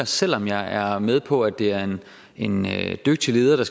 selv om jeg er med på at det er en en dygtig leder der